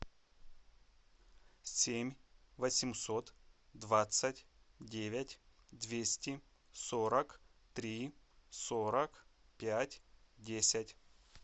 семь восемьсот двадцать девять двести сорок три сорок пять десять